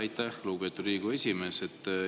Aitäh, lugupeetud Riigikogu esimees!